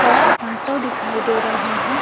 और ऑटो दिखाई दे रहे है।